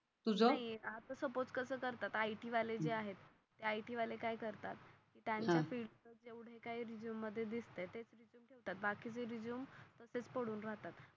आज सपोझ कस करतात i. t वाले जे आहेत. ते i. t वाले काय करतात त्यांना